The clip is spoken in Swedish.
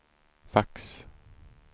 fax